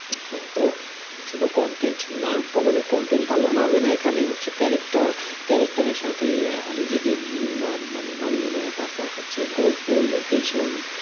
হ্যাঁ, তো শুধু content না মানে content ভালো হলে হবে না এখানে হচ্ছে character, character এর সাথে নিজেকে মানে মানিয়ে নেওয়া তারপর হচ্ছে গল্প location